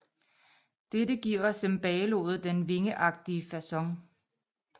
Dette giver cembaloet den vingeagtige facon